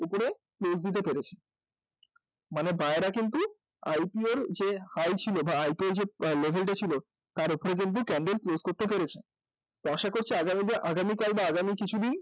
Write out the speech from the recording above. দিতে পেরেছে মানে buyer রা কিন্তু IPO র যে high ছিল বা IPO র যে level টা ছিল তার উপর কিন্তু candle close করতে পেরেছে, তো আশা করছি আগামীকাল বা আগামী কিছুদিন